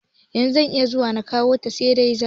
Yanzu zan iya zuwa na kwanta, sai da safe.